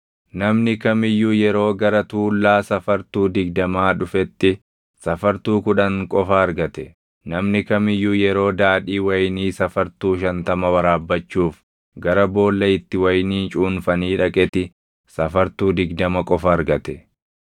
Namni kam iyyuu yeroo gara tuullaa safartuu digdamaa dhufetti safartuu kudhan qofa argate. Namni kam iyyuu yeroo daadhii wayinii safartuu shantama waraabbachuuf gara boolla itti wayinii cuunfanii dhaqetti safartuu digdama qofa argate.